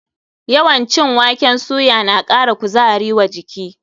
Yawan cin waken soya na ƙara kuzari wa jiki.